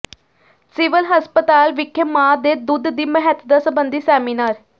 civil ਹਸਪਤਾਲ ਵਿਖੇ ਮਾਂ ਦੇ ਦੁੱਧ ਦੀ ਮਹੱਤਤਾ ਸਬੰਧੀ ਸੈਮੀਨਾਰ